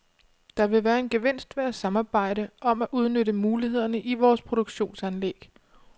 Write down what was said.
Der vil være en gevinst ved at samarbejde om at udnytte mulighederne i vores produktionsanlæg.